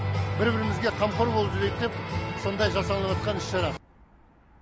бір бірімізге қамқор болып жүрейік деп сондай жасалынып жатқан іс шара